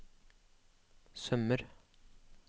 sømmer